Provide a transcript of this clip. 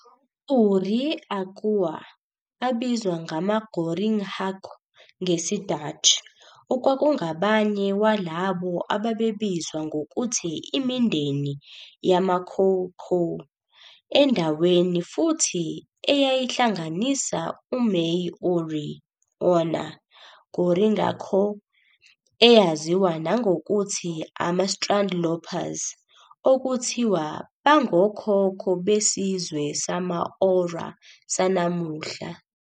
!Uri 'aekua, abizwa ngama"Goringhaiqua" ngesi-Dutch, okwakungabanye walabo ababebizwa ngokuthi imindeni yamaKhoekhoe endaweni futhi eyayihlanganisa amai-!Uri 'ae 'ona, "Goringhaicona", eyaziwa nangokuthi "amaStrandlopers", okuthiwa bangokhokho besizwe sama-!Ora sanamuhla.